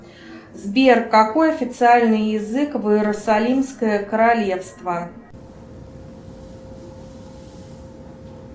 сбер какой официальный язык в иерусалимское королевство